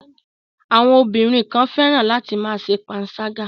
Àwọn ọbìnrin kan fẹ́ràn láti ma ṣe panṣágà.